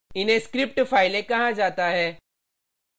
इन्हें script फाइलें कहा जाता है